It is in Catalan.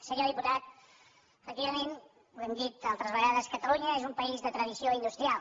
senyor diputat efectivament ho hem dit altres vegades catalunya és un país de tradició industrial